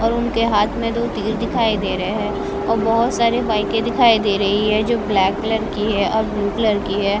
और उनके हाथ में दो तीर दिखायी दे रहे हैं और बहुत सारी बाइके दिखायी दे रहे हैं जो ब्लैक कलर की है और ब्लू कलर की है।